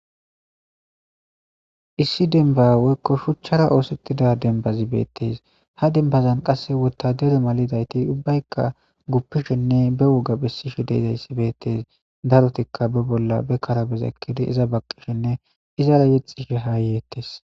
Issi demba weykko shuchchara oosettida dembazibeettes ha dembazan qasse wotadere malidayti ubbaykka guppishinne be woga bessishi deizayssi beettes darotikka be bolla be karabes ekkidi iza baqqishinne izara yexxishe haa yeettes.